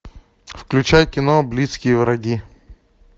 включай кино близкие враги